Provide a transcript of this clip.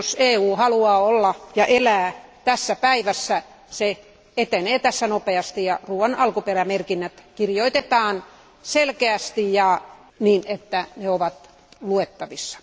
Jos EU haluaa olla ja elää tässä päivässä, se etenee tässä asiassa nopeasti ja ruoan alkuperämerkinnät kirjoitetaan selkeästi ja niin, että ne ovat luettavissa.